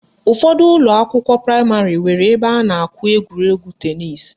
Ụfọdụ ụlọakwụkwọ praịmarị nwere ebe a na-akụ egwuregwu tenisi